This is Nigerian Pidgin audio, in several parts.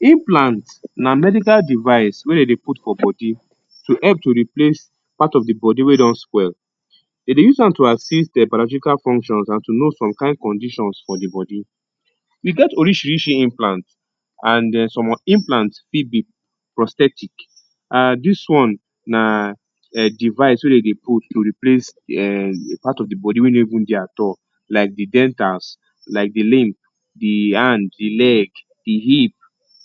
Implant na medical device wey de dey put for body to help to replace part of the body wey don spoil. De dey use am to assist biological functions and to know some kain conditions for the body We get orisirisi implant an um some implant fit be prosthetic. um dis one na um device wey de dey put to replace um part of the body wey no even dey at all like the dentals, like the limb the hand, the leg the hip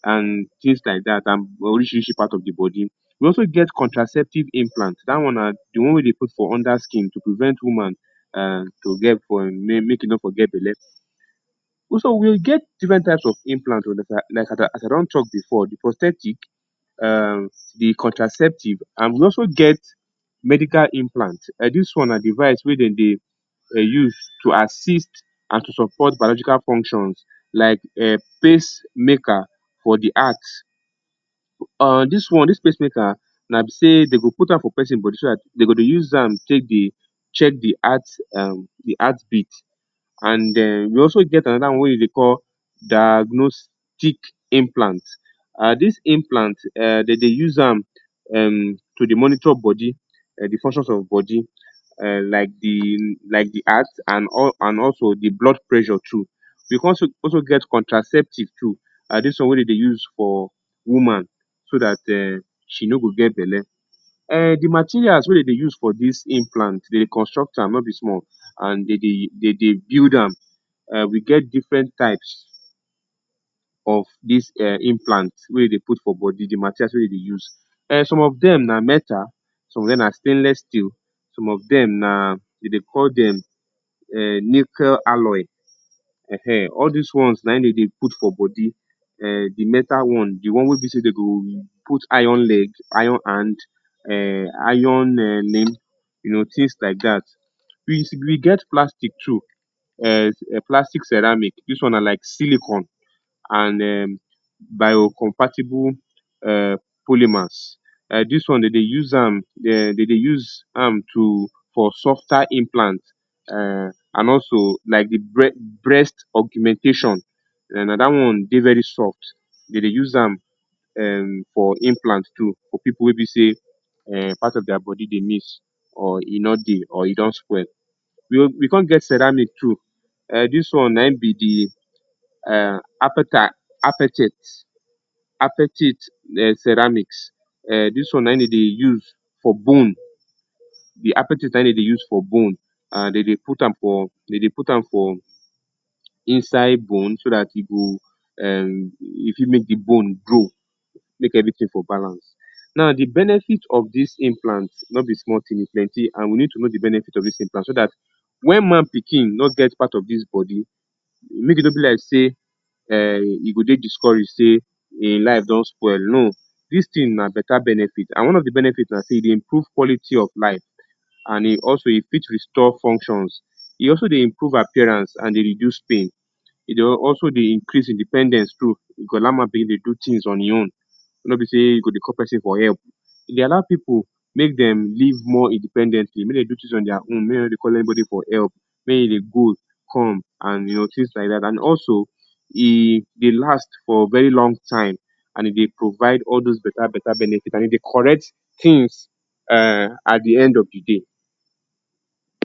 an tins like dat and orisirisi part of the body. We also get contraceptive implant. Dat one na the one wey de put for under skin to prevent woman an to get make make e no for get belle. So, we get different types of implant like as I don talk before, um the prosthetic, um the contraceptive, and we also get medical implant. um Dis one na device wey de dey um use to assist and to support biological functions like um pace-maker for the heart. An dis one, dis pace-maker, na be sey de go put am for peson body so dat de go dey use am take dey check the heart um the heartbeat. And um we also get another one wey de dey call diagnostic implant. um Dis implant, um de dey use am um to dey monitor body, um the functions of body um like the like the heart, an and also the blood pressure too. We can also also get contraceptive too. um Dis one wey de dey use for woman so dat um she no go get belle um The materials wey de dey use for dis implant, de dey construct am no be small, an de dey de dey build am. um We get different types of dis um implant wey de dey put for body the materials wey de dey use. um Some of dem na metal, some of dem na stainless steel, some of dem na de dey call dem um nickel alloy. um All dis one na ein de dey put for body. um The metal one, the one wey be sey de go put iron leg, iron hand, um iron um limb, you know, tins like dat. We we get plastic too, um plastic ceramic. Dis one na like silicon and um biocompatible um polymers. um Dis one de dey use am um de dey use am to for softer implant um an also, like the breast breast augmentation um na dat one dey very soft. De dey use am um for implant too for pipu wey be sey um part of dia body dey miss or e no dey or e don spoil. We we con get ceramic too. um dis one na ein be the um apatite apatite um ceramics. um dis one na ein de dey use for bone. The apatite na ein de dey use for bone. An de dey put am for de dey put am for inside bone so dat e go um e fit make the bone grow, make everything for balance. Now, the benefit of dis implant no be small tin. E plenty. A n we need to know the benefit of dis implant so dat wen man pikin no get part of dis body, make e no be like sey um e go dey discourage sey ein life don spoil. No. Dis tin na beta benefit, an one of the benefit na sey e dey improve quality of life an e also e fit restore functions. E also dey improve appearance an dey reduce pain. E dey also dey increase independence too. E go allow man pikin dey do tins on ein own, no be sey you go dey call peson for help. E dey allow pipu make dem live more independently, make de do tins on dia own, make de no dey all anybody for help, make de dey go, come, and you know, tins like dat. An also, e dey last for very long time and e dey provide all dos beta-beta benefit and e dey correct tins um at the end of the day.